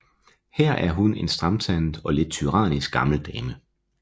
Her er hun en stramtandet og lidt tyrannisk gammel dame